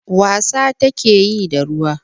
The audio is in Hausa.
Wasa take yi da ruwa.